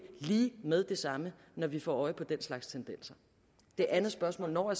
lige med det samme når vi får øje på den slags tendenser det andet spørgsmål når